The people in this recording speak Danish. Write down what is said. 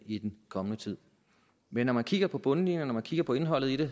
i den kommende tid men når man kigger på bundlinjen og når man kigger på indholdet i det